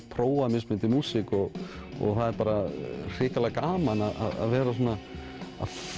prófa mismunandi músík og það er bara hrikalega gaman að vera að